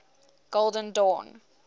golden dawn